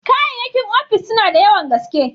Kayyakin ofis suna da yawan gaske.